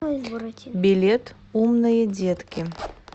билет умные детки